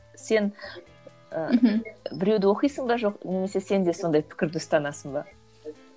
сен ы мхм біреуді оқисың ба жоқ немесе сенде сондай пікірді ұстанасың ба